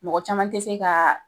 Mɔgɔ caman te se ka